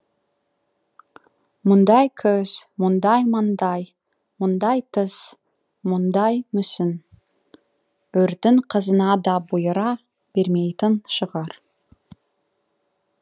мұндай көз мұндай маңдай мұндай тіс мұндай мүсін үрдің қызына да бұйыра бермейтін шығар